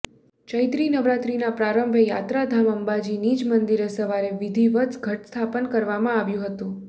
ચૈત્રી નવરાત્રીના પ્રારંભે યાત્રાધામ અંબાજી નિજ મંદિરે સવારે વિધિવત ઘટસ્થાપન કરવામાં આવ્યું હતું